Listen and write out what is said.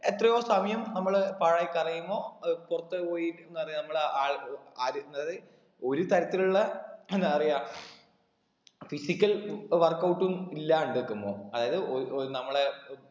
എത്രയോ സമയം നമ്മള് പാഴാക്കിയറിയുമോ ഏർ പുറത്തൊക്കെ പോയി എന്തറിയ നമ്മള് അഹ് ഏർ അറിയുന്നത് ഒരുതരത്തിലുള്ള എന്തപറയ physical workout ഉം ഇല്ലാണ്ട് നിക്കുമ്പോ അതായത് ഒര് ഒര് നമ്മളെ